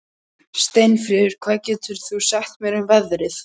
Steinfríður, hvað geturðu sagt mér um veðrið?